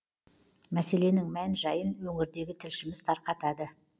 мәселенің мән жайын өңірдегі тілшіміз тарқатады